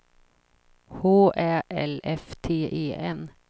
H Ä L F T E N